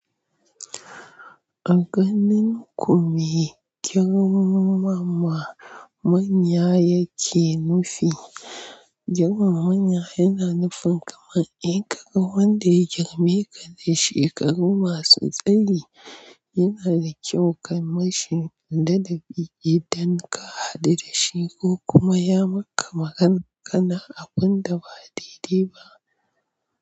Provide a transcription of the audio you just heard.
A ganin ku me girman mama manya yake nufi? Girmana manya yana nufin kamar inkaga wanda ya girme ka da shekaru masu tsayi. Yana da kyau ka mashi ladabi idan ka haɗu da shi ko kuma ya maka magana kana abunda ba daidai ba.